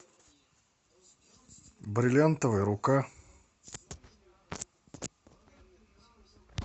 бриллиантовая рука